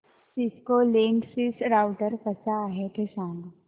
Cisco Linksys router कसा आहे ते सांग